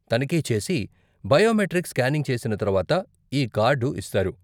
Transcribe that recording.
తనిఖీ చేసి, biometric scanning చేసిన తర్వాత ఈ కార్డు ఇస్తారు.